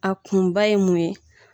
A kunba ye mun ye ?